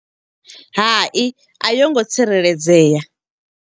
Hai, a yi ngo tsireledzea.